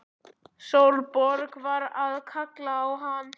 Sólborg var að kalla á hann!